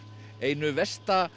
einu versta